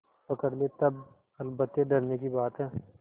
पकड़ ले तब अलबत्ते डरने की बात है